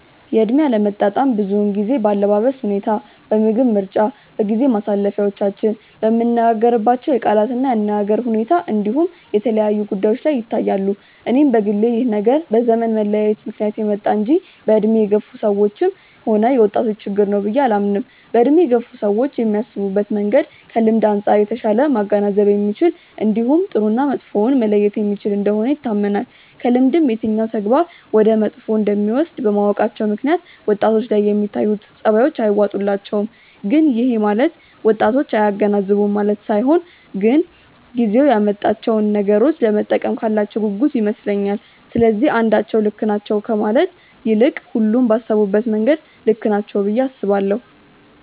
የእድሜ አለመጣጣም ብዙውን ጊዜ በአለባበስ ሁኔታ፣ በምግብ ምርጫ፣ በጊዜ ማሳለፊያዎቻችን፣ በምንነጋገርባቸው የቃላት እና የአነጋገር ሁኔታ እንዲሁም የተለያዩ ጉዳዮች ላይ ይታያሉ። እኔም በግሌ ይህ ነገር በዘመን መለያየት ምክንያት የመጣ እንጂ በእድሜ የገፋ ሰዎችም ሆነ የወጣቶች ችግር ነው ብዬ አላምንም። በእድሜ የገፉ ሰዎች የሚያስቡበት መንገድ ከልምድ አንጻር የተሻለ ማገናዘብ የሚችል እንዲሁም ጥሩ እና መጥፎውን መለየት የሚችል እንደሆነ ይታመናል። ከልምድም የትኛው ተግባር ወደ መጥፎ እንደሚወስድ በማወቃቸው ምክንያት ወጣቶች ላይ የሚታዩት ጸባዮች አይዋጡላቸውም። ግን ይሄ ማለት ወጣቶች አያገናዝቡም ማለት ሳይሆን ግን ጊዜው ያመጣቸውን ነገሮች ለመጠቀም ካላቸው ጉጉት ይመስለኛል። ስለዚህ አንዳቸው ልክ ናቸው ከማለት ይልቅ ሁሉም ባሰቡበት መንገድ ልክ ናቸው ብዬ አስባለሁ።